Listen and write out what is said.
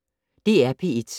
DR P1